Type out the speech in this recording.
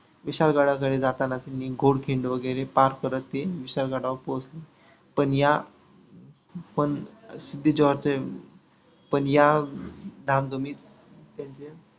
विशाल गडाकढे जाताना त्यांनी घोडखिंड वैगरे पार करत ते विशाल गडावर पोहोचले. पण या पण सिद्धी जोहरचे पण या धामधुमीत त्यांच्या